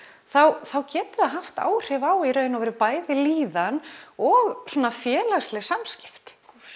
þá getur það haft áhrif á bæði líðan og félagsleg samskipti